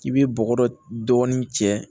I bɛ bɔgɔ dɔɔnin cɛ